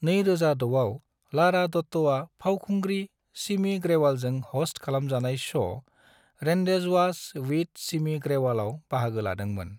2006आव लारा दत्ताआ पावखुंग्रि सिमी ग्रेवाल जों हस्त खालामजानाय श' 'रेंडेजवास विद सिमी ग्रेवाल' आव बाहागो लादोंमोन।